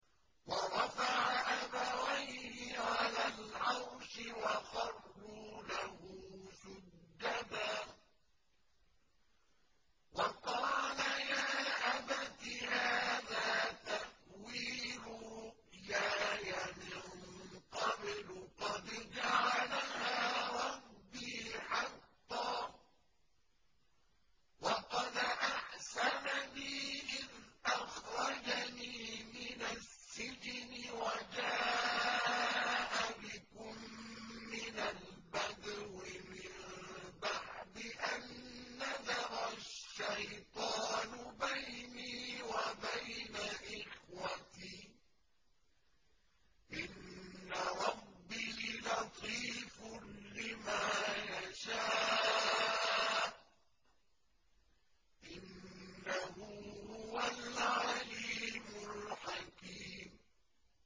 وَرَفَعَ أَبَوَيْهِ عَلَى الْعَرْشِ وَخَرُّوا لَهُ سُجَّدًا ۖ وَقَالَ يَا أَبَتِ هَٰذَا تَأْوِيلُ رُؤْيَايَ مِن قَبْلُ قَدْ جَعَلَهَا رَبِّي حَقًّا ۖ وَقَدْ أَحْسَنَ بِي إِذْ أَخْرَجَنِي مِنَ السِّجْنِ وَجَاءَ بِكُم مِّنَ الْبَدْوِ مِن بَعْدِ أَن نَّزَغَ الشَّيْطَانُ بَيْنِي وَبَيْنَ إِخْوَتِي ۚ إِنَّ رَبِّي لَطِيفٌ لِّمَا يَشَاءُ ۚ إِنَّهُ هُوَ الْعَلِيمُ الْحَكِيمُ